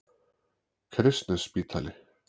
Kristnesspítali